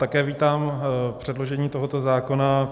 Také vítám předložení tohoto zákona.